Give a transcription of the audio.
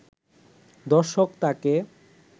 দর্শক তাকে